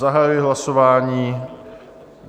Zahajuji hlasování.